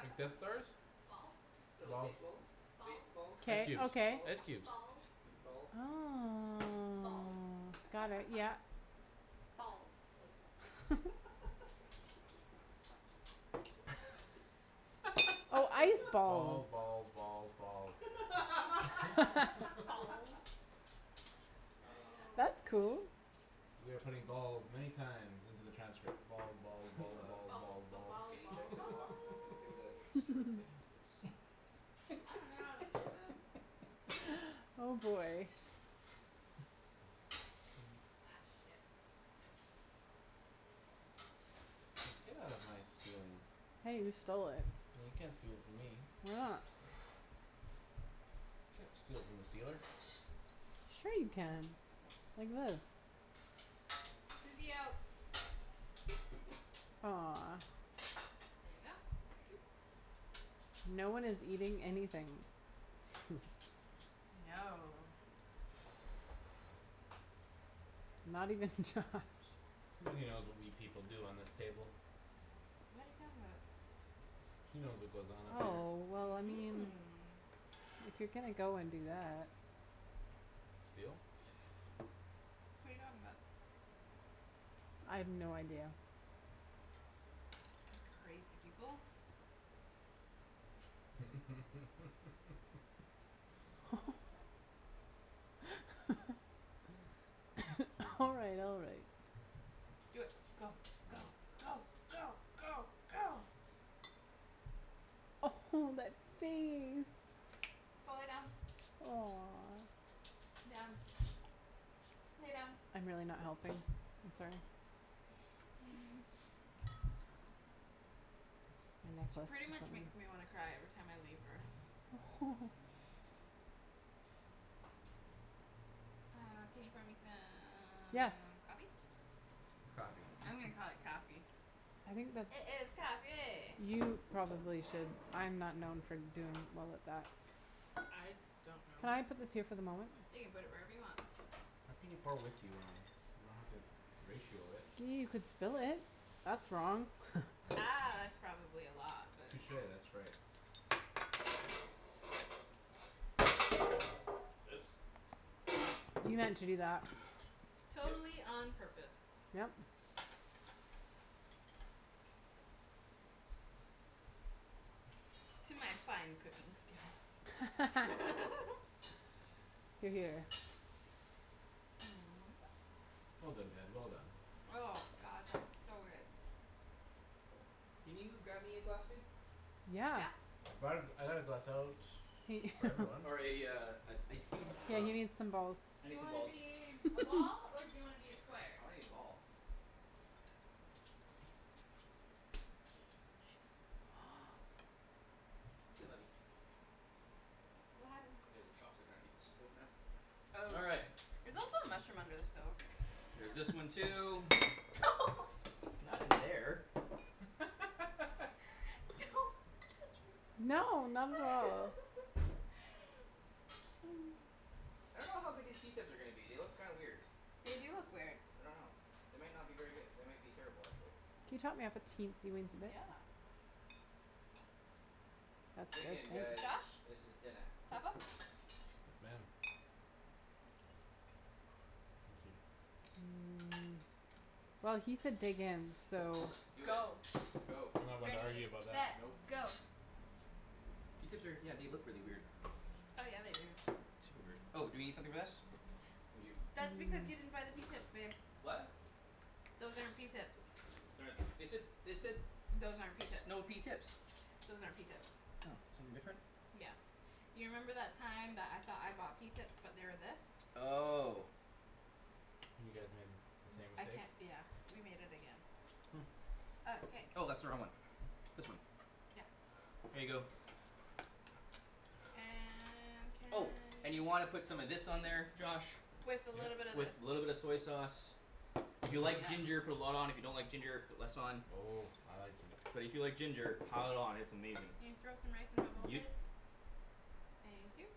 Like Death Stars? Balls Little Balls. stace balls. Space Balls balls, Ice K, cubes, okay. balls. ice cubes. Balls Balls. Oh. Balls Got it, yeah. Balls Oh, ice Balls, balls. balls, balls, balls. Balls Oh, That's cool. man. We are putting balls many times into the transcript: balls, balls, Hey, balls, love. balls, balls, Balls, balls, balls, Can you balls, check balls. the balls wok? And give it a stir if it's I dunno how to do this. Oh, boy. Ak, shit. Hey, get out of my stealings. Hey, you stole it. Well, you can't steal it from me. You can't steal from the stealer. Sure you can, Nice, like thank you. this. Susie, out. Aw. There you go. Thank you. No one is eating anything. No. Not even Josh. Susie knows what we people do on this table. What are you talking about? She knows what goes on up here. Oh, well, I mean if you're gonna go and do that. Steal? What are you talking about? I have no idea. You crazy people. All Susie. right, all right. Do it. Go, go, Right. go, go, go, go. Oh, that face. Go lay down. Aw. Down. Lay down. I'm really not helping. I'm sorry. Pretty much makes me wanna cry every time I leave her. Uh, can you pour me some Yes. coffee? Coffee. I'm gonna call it coffee. I think that's It is coffee. You probably should. I'm not known for doing well at that. I don't know. Can I put this here for the moment? You can put it wherever you want. How can you pour whiskey wrong? You don't have to ratio it. You could spill it; that's wrong. Ah, that's probably a lot, but. Touche, that's right. Oops. You meant to do that. Yep. Totally on purpose. Yep. To my fine cooking skills. Hear, hear. Well done, Ped, well done. Oh, god, that is so good. Can you grab me a glass, babe? Yeah. Yeah. I brought a, I got a glass out Hey for everyone. Or a, uh, an ice cube? Yeah, you need some Um balls. I Do need you some wanna balls. be a ball or do you wanna be a square? I wanna be ball. Ah, shit. Oh, well. C'est la vie. What happened? There's a chopstick underneath the stove now. Oh, All right. there's also a mushroom under the stove. There's this one too. Not in there. Don't touch me. No, not at all. I don't know how good these pea tips are gonna be; they look kind weird. They do look weird. I don't know. They might not be very good. They might be terrible, actually. Can you top me off a teensy weensy bit? Yeah. That's Dig good, in thank guys, Josh, you. this is dinna. top up? Yes, ma'am. Well, he said dig in, so. Do it, Go. go. I'm not one to argue Ready, about that. set, Nope. go. Pea tips are, yeah, they look really weird. Oh, yeah, they do. Super weird. Oh, do we need something for this? We do. That's because you didn't buy the pea tips, babe. What? Those aren't pea tips. They said, they said Those aren't pea s- tips. snow pea tips. Those aren't pea tips. Oh, something different? Yeah, you remember that time that I thought I bought pea tips but they were this? Oh. You guys made the same I mistake. can't, yeah, we made it again. Oh. Okay. Oh, that's the wrong one. This one. Yeah. Here you go. And can Oh, and you y- wanna put some of this on there, Josh. With a little bit Yep. of this. With little bit of soy sauce. If you like ginger, put a lot on, if you don't like ginger, put less on. Oh, I like ginger. But if you like ginger pile it on; it's amazing. Can you throw some rice in my bowl, please? Yep. Thank you.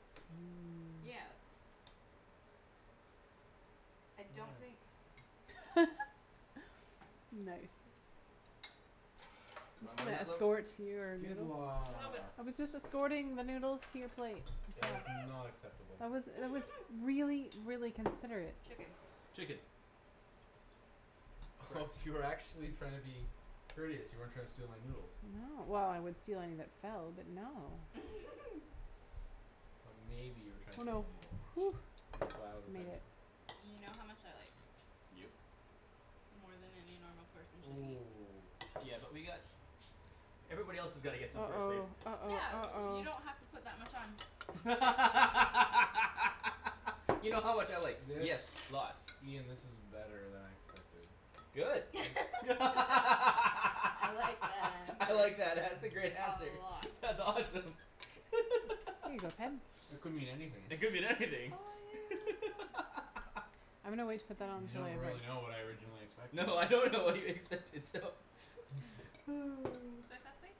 Yeah, that's I don't think Nice. You want more Can I then that, love? escort your Good noodles? Little bit. I was just escorting the noodles to your plate. That was not acceptable. That was, it was really, really considerate. Chicken. Chicken. Oh you were actually trying to be courteous; you weren't trying to steal my noodles. No, well, I would steal anything that fell but, no. But maybe you were trying to Oh, steal no. my noodles. And that's why I was Made offended. it. You know how much I like. Yep. More than any normal person should eat. Ooh. Yeah, but we got Everybody else's gotta get some first, babe. uh-oh, Yeah, uh-oh, you don't have to uh-oh. put that much on. You know how much I like. This, Yes, lots. Ian, this is better than I expected. Good. I'm I I like that answer. like that; that's a great A answer. lot. That's awesome. Here you go, Ped. It could mean anything. It could mean Oh, anything. yeah. I'm gonna wait to put that You onto my don't rice. really know what I originally expected. No, I don't know what you expected, so. Oh. Soy sauce, please.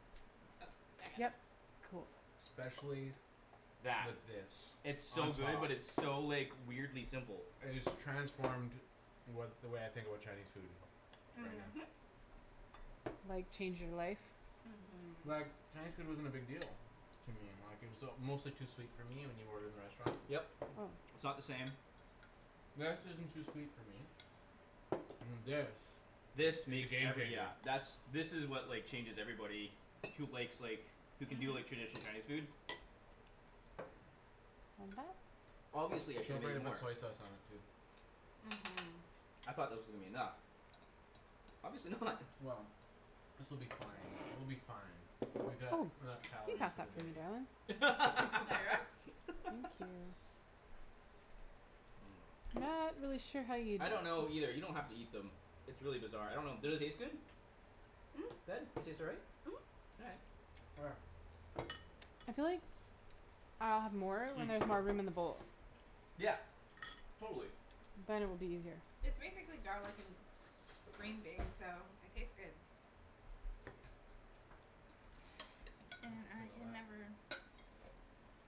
Oh, I got it. Yep. Especially with That. this It's on so good top. but it's so, like weirdly simple. It has transformed what, the way I think about Chinese food. Right now. Mhm. Like change your life? Like, Mhm. Chinese food wasn't a big deal to me. Like it was uh mostly too sweet for me when you order in the restaurant. Yep, it's not the same. That isn't too sweet for me. And this This The makes game every, changer. yeah, that's, this is what, like, changes everybody who likes, like who can do, like, traditional Mhm. Chinese food. Obviously I should have Don't made forget to put more. soy sauce on it too. Mhm. I thought that was gonna be enough. Obviously not. Well, this will be fine; we'll be fine. Oh, We got can enough you calories pass for that the for me, darling? day. Thank you. Not really sure how you I don't know either; you don't have to eat them. It's really bizarre. I don't know; did it taste good? Ped, they taste all right? Mhm. All right. Where? I feel like I'll have more when there's Hmm. more room in the bowl. Yeah. Totally. Then it will be easier. It's basically garlic and green beans so it tastes good. And I can never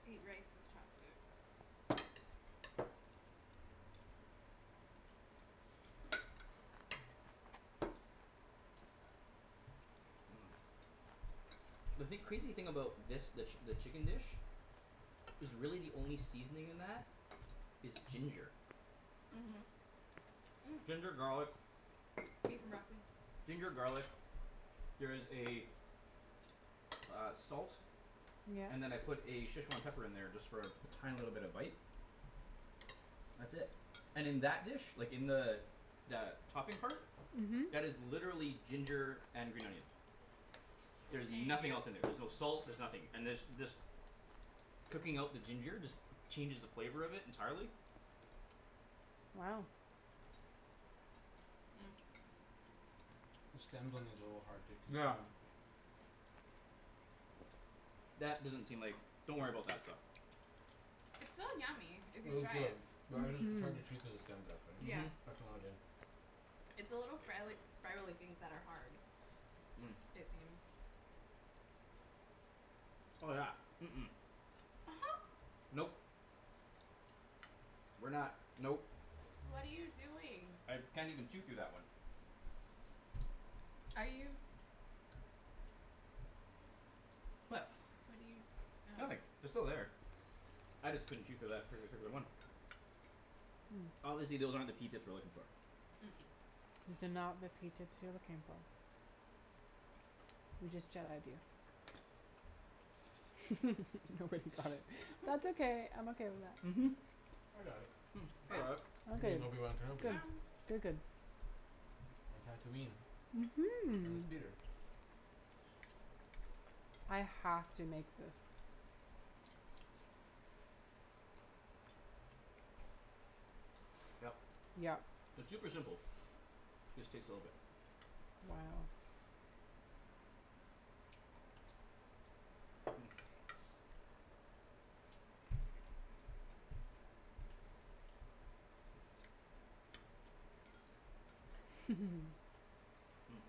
eat rice with chopsticks. Mmm. The thing, crazy thing about this, the, the chicken dish is really the only seasoning in that is ginger. Mhm. Mm. Ginger, garlic. Beef and broccoli. Ginger, garlic. There is a uh, salt. Yeah. And then I put a Szechwan pepper in there just for a tiny little bit of bite. That's it. And in that dish, like, in the the topping part Mhm. that is literally ginger and green onion. There's Thank nothing else in there. you. There's no salt; there's nothing. And there's, this cooking out the ginger just changes the flavor of it entirely. Wow. The stems on these are a little hard to Yeah. consume. That doesn't seem like, don't worry about that stuff. It's still yummy if you Well, it's try good it. but I just, it's Mhm. hard to chew through the stems actually; Yeah. Mhm. that's the only thing It's the little sprialy- spiraly things that are hard. Mm. It seems. Oh, yeah. Mm- mm. Nope. We're not, nope. What are you doing? I can't even chew through that one. Are you What? What are you, Nothing. oh. They're still there. I just couldn't chew through that par- particular one. Obviously those aren't the pea tips we're looking for. That's okay. I'm okay with that. Mhm. I got it. Hmm, I Yeah, got it. You ok, mean Obi Wan yeah, Kenobi. Good. you're Good, good. good. Mhm. I have to make this. Yep. Yep. It's super simple. Just takes a little bit. Wow. Hmm.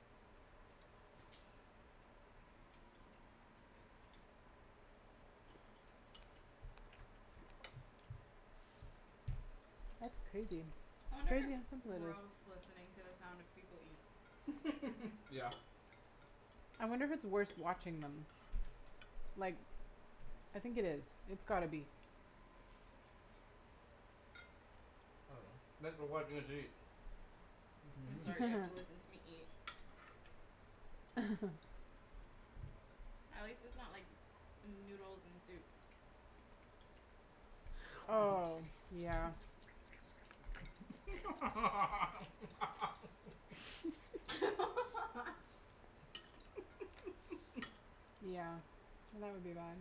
That's crazy. I It's wonder if crazy it's how simple it is. gross listening to the sound of people eat. Yeah. I wonder if it's worse watching them. Like I think it is; it's gotta be. Thanks for watching us eat. I'm sorry you have to listen to me eat. At least its not like noodles and soup. Oh, yeah. Yeah, that would be bad.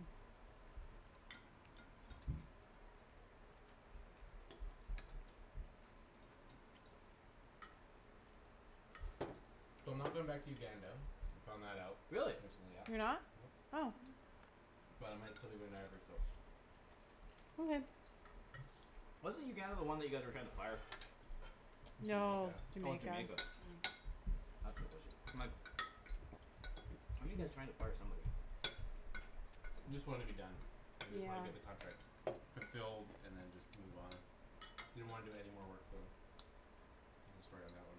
So I'm not going back to Uganda; I found that out, Really? recently, yeah. You're not? Nope. Oh. But I might still be going to Ivory Coast. Okay. Wasn't Uganda the one that you guys were trying to fire? That's No, Jamaica. Oh, Jamaica. Jamaica. That's what it was. My fire somebody. Just wanna be done. I just wanna get the Yeah. contract fulfilled and then just move on. Didn't wanna do any more work for them There's a story on that one.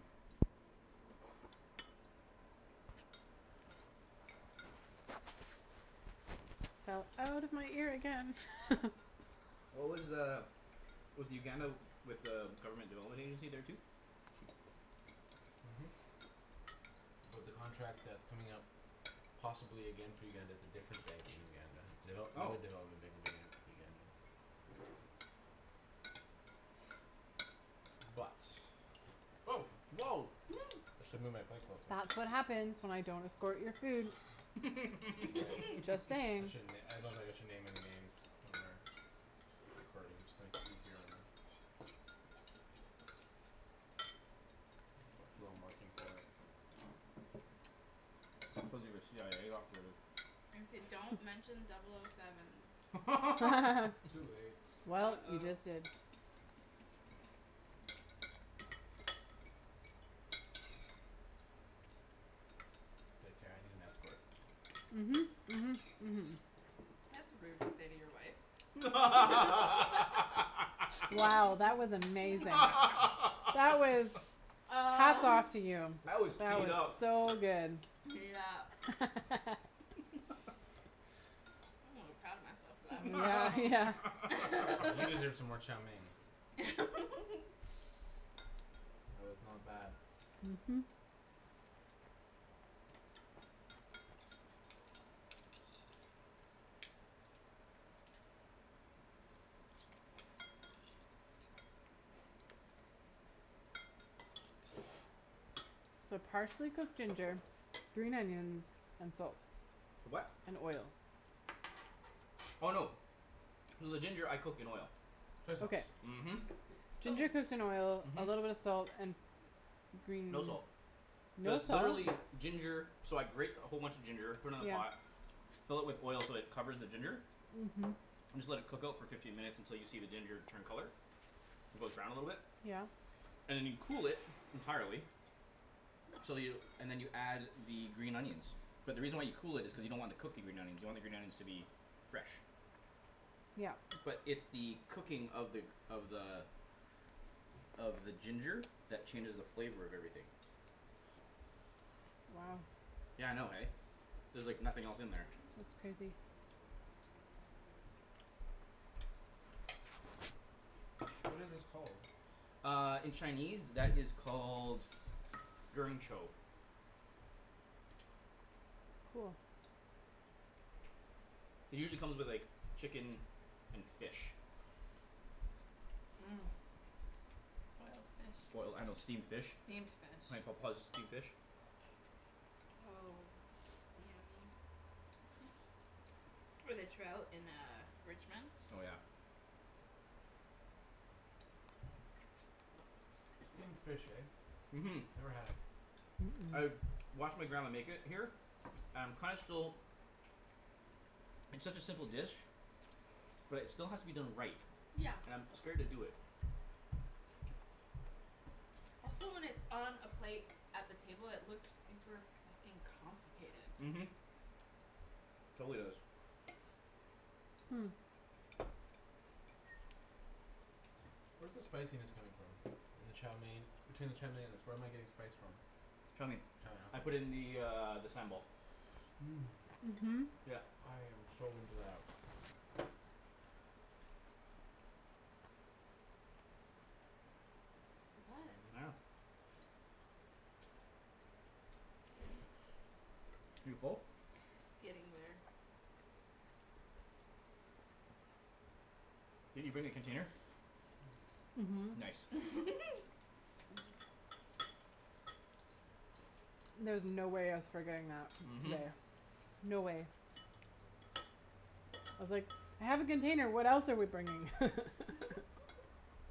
Fell out of my ear again. What was uh Was the Uganda with uh government development agency there too? Mhm. But the contract that's coming up possibly again for Uganda is a different bank in Uganda. Oh. Uga- Uganda But Woah. I should move my plate closer. That's what happens when I don't escort your food. Right. Just I saying. shouldn- I don't think I should name any names when we're recording, just to make it easier on them. Who I'm working for. Cuz you're a CIA operative. I say don't mention double o seven. Too late. Well, you just uh-oh. did. K, Kara, I need an escort. Mhm, mhm, mhm. That's rude to say to your wife. Wow, that was amazing. That was, hats Uh. off to you. That was That teed was up. so good. Yep. I'm a little proud of myself for that Yeah. You one. deserve some more chow mein. It was not bad. Mhm. So partially cooked ginger, green onions and salt. For what? And oil. Oh, no. So the ginger I cook in oil. Soy Okay. sauce. Mhm. Ginger cooks in oil, a little bit of Mhm. salt and green No salt. No Just salt? literally ginger. So I grate a whole bunch of ginger, put it in a yeah pot. fill it with oil so it covers the ginger Mhm. and just let it cook out for fifteen minutes until you see the ginger turn color. It goes brown a little bit. Yeah. And then you cool it entirely so you, and then you add the green onions. But the reason why you cool it is because you don't want to cook the green onions. You want the green onions to be fresh. Yep. But it's the cooking of the, of the of the ginger that changes the flavor of everything. Wow. Yeah, I know, eh? There's, like, nothing else in there. That's crazy. What is this called? Uh, in Chinese that is called Cool. It usually come with, like, chicken and fish. Boiled fish. Boil, I, I know, steamed fish. Steamed fish. steamed fish. With a trout in uh Richmond. Oh, yeah. Steamed fish, eh? Mhm. Never had it. I've watched my grandma make it here and kinda still It's such a simple dish. But it still has to be done right. And I'm scared to do it. Also when it's on a plate at the table it look super fuckin' Mhm. complicated. Totally does. Hmm. Where's the spiciness coming from? In the chow mein, between the chow mein and the where am I getting the spice from? Chow mein. Chow I mein, ok. put in the, uh, the sambal. Mmm, Mhm. Yep. I am so into that. Yeah. You full? Getting there. Did you bring a container? Mhm. Nice. There was no way I was forgetting that Mhm. today. No way. I was like, "I have a container what else are we bringing."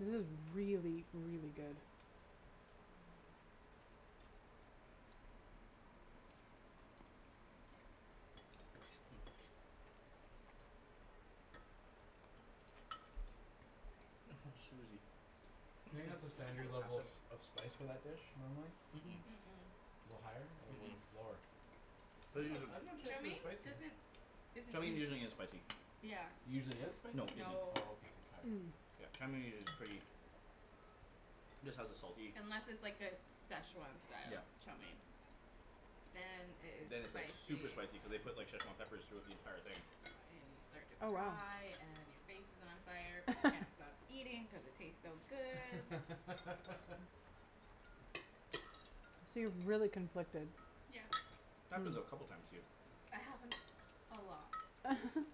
This is really, really good. Hmm. Oh, Susie. Do you think that's a standard level of, of spice for that dish, normally? Mm- Mm- mm. mm. A little higher or Mm- little mm. lower? I'm not, I dunno if Chow Chinese food is mein spicy. doesn't isn't Chow mein usually usu- isn't spicy. Yeah. Usually is spicy? No, isn't. No. Oh, okay. So sorry. Mmm. Yeah, chow mein is usu- pretty just has a salty Unless it's, like, a Szechwan style Yep. chow mein. Then it Then is it's, like, super spicy. spicy cuz they put, like, Szechwan peppers throughout the entire thing. Uh and you start to Oh, wow. cry and your face is on fire but you can't stop eating cuz it tastes so good. So you're really conflicted. Happens a couple of times to you. It happens a lot,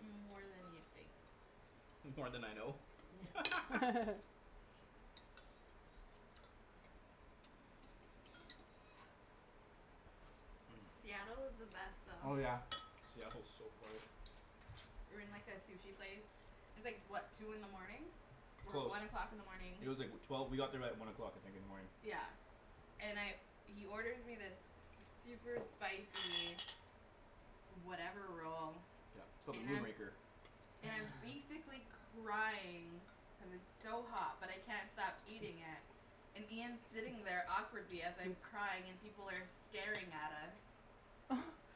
more than you'd think. More then I know? Yeah. Mmm. Seattle is the best Oh, Oh, though. yeah. yeah. Seattle's so far. We were in, like, a sushi place. It's, like, what, two in the morning? Or Close. one o'clock in the morning. It was like, wh- twelve, we got there at one o'clock, I think, in the morning. Yeah. And I, he orders me this super spicy whatever roll Yeah, it's called the and Moon I'm, Raker. and I'm basically crying cuz it's so hot but I can't stop eating it and Ian's sitting there awkwardly as I'm crying and people are staring at us.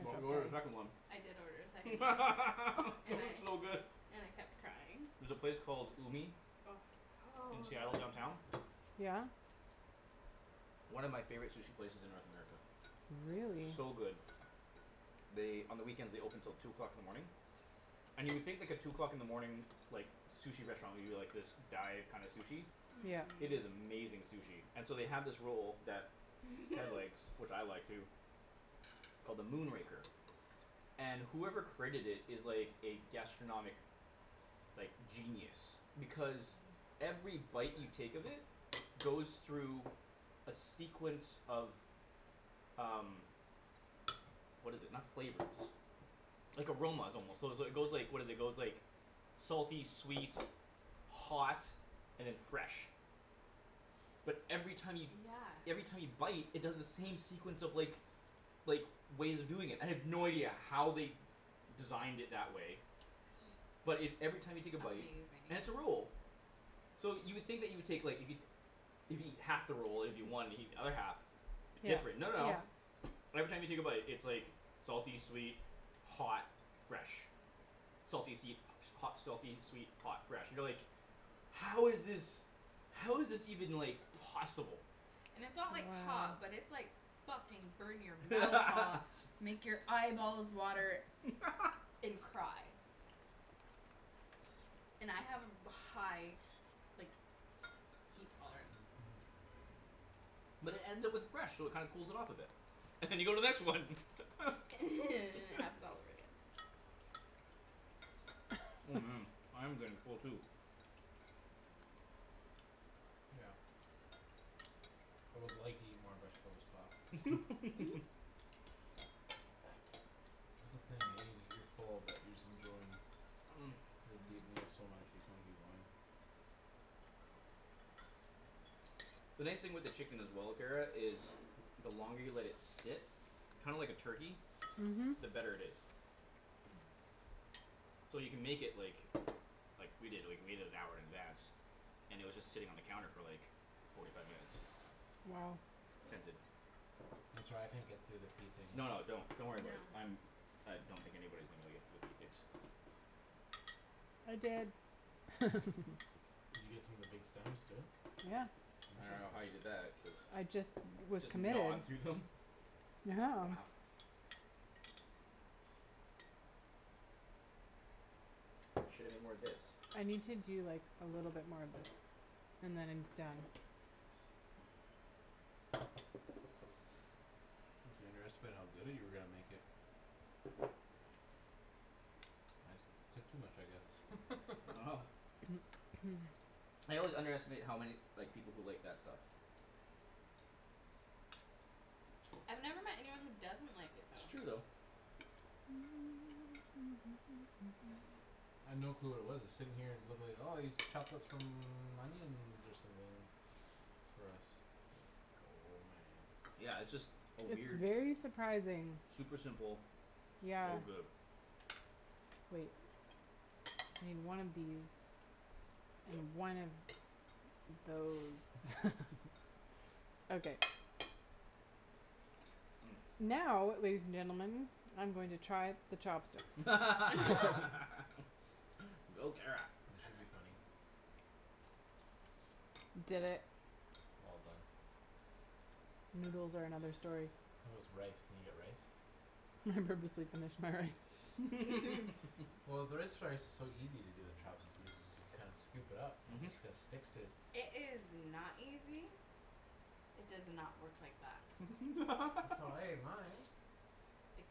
But we ordered a second one. I did order a second one. That And was I so good. and I kept crying. There's a place called Umi Oh, in so Seattle downtown. yummy. Yeah? One of my favorite sushi places in North America. Really. So good. They, on the weekends they open till two o'clock in the morning. And you would think, like, a two o'clock in the morning like, sushi restaurant would be, like, this dive kinda sushi. Yeah. Mm- It is mm. amazing sushi. And so they have this roll that Ped likes, which I like too called the Moon Raker. And whoever created it is, like, a gastronomic like, genius. Because every bite you take of it goes through a sequence of um what is it, not flavors like, aromas, almost, so is, it goes, like, what is it, it goes, like salty, sweet hot and then fresh. But every time you Yeah. every time you bite it does the same sequence of, like like, ways of doing it. I have no idea how they designed it that way but it, every time you take a bite, Amazing. and it's a roll. So you would think that you would take, like, if you if you eat half the roll, it would be one if you eat the other half. Different, no, no. Every time you take a bite, it's, like salty, sweet, hot fresh. Salty, seed hot, selfie, sweet hot, fresh, you know, like "How is this How is this even, like, possible?" And it's not, like, hot but it's, like, fucking burn-your-mouth hot. Make your eyeballs water and cry. And I have a ba- high like, heat tolerance. But it ends up with fresh so it kinda cools it off a bit. And you go to the next one. And it happens all over again. Oh, man, I'm getting full too. Yeah. I would like to eat more veg, but I'll stop. That's the thing, eh? You're full but you're just enjoying The nice thing with the chicken as well, Kara, is the longer you let it sit kinda like a turkey, Mhm. the better it is. So you can make it, like like, we did, like, we made it an hour in advance. And it was just sitting on the counter for, like forty five minutes. Wow. I'm sorry, I can't get through the pea things. No, no, don't, don't worry about it. I'm I don't think anybody's gonna be able to get through the pea tips. I did. Did you get some of the big stems too? Yeah. I don't know how Interesting. you did that cuz I just was Just committed. gnawed through them? Yeah. Wow. Shoulda made more of this. I need to do like a little bit more of this and then I'm done. I think you underestimated how good that you were gonna make it. I took too much, I guess. Wow. I always underestimate how many, like, people who like that stuff. I've never met anyone who doesn't like it It's true though. though. I'd no clue what it was. I was sitting here and it looked like, "Oh, he's chopped up some onions or something for us." Oh, man. Yeah, it's just a It's weird very surprising. Super simple Yeah. so good. Wait. I need one of these and one of those. Okay. Mmm. Now, ladies and gentlemen, I'm going to try the chopsticks. Go, Kara. This should be funny. Did it. All done. Noodles are another story. How's rice? Can you get rice? I purposely finished my rice. Mhm. Well, is so easy to do with chopsticks. You just s- kind of scoop it up and Mhm. it just sticks to It is not easy. It does not work like that. That's how I ate mine. It